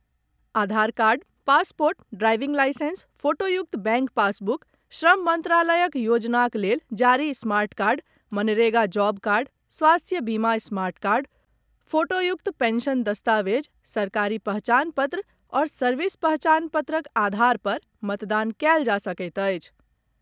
आधार card, passport, driving licence, फोटोयुक्त bank passbook, श्रम मंत्रालयक योजनाक लेल जारी smart card, MNREGA job card, स्वास्थ्य बीमा स्मार्ट कार्ड, फोटोयुक्त पेंशन दस्तावेज, सरकारी पहचान पत्र आओर सर्विस पहचान पत्रक आधार पर मतदान कयल जा सकैत अछि।